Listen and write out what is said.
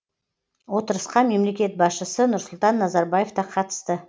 отырысқа мемлекет басшысы нұрсұлтан назарбаев та қатысты